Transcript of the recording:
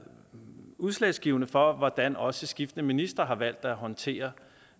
udslagsgivende for hvordan også skiftende ministre har valgt at håndtere